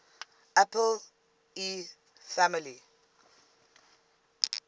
apple ii family